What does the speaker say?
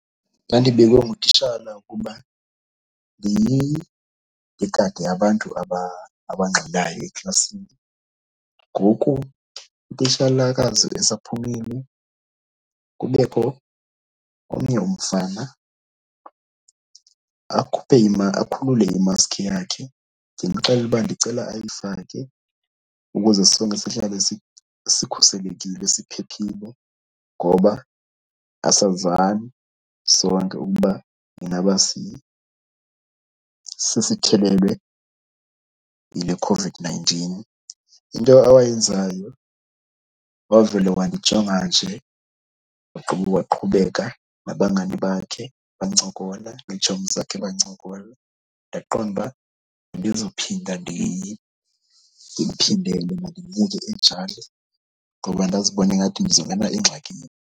Ndadibekwe ngutitshala ukuba ndingade abantu abangxolayo eklasini. Ngoku utitshalakazi esaphumile kubekho omnye umfana akhuphe akhulule imaski yakhe. Ndimxelele uba ndicela ayifake ukuze sonke sihlale sikhuselekile siphephile ngoba asazani sonke ukuba ingaba sesithelelwe yile COVID-nineteen. Into awayenzayo wavele wandijonga nje ugqiba waqhubeka nabangani bakhe bancokola, neetshomi zakhe bancokola. Ndaqonda uba andizuphinda ndimphindele, mandimyeke enjalo ngoba ndazibona ingathi ndizongena engxakini.